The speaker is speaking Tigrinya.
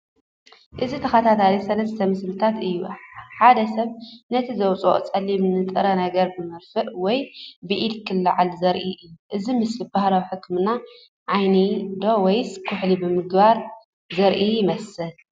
እዚ ተኸታታሊ ሰለስተ ምስልታት እዩ። ሓደ ሰብ ነቲ ዝወጽእ ጸሊም ንጥረ ነገር ብመርፍእ ወይ ብኢዱ ከልዕል ዘርኢ እዩ። እዚ ምስሊ ባህላዊ ሕክምና ዓይኒ ዶ ወይስ ኩሕሊ ምግባር ዘርኢ ይመስል?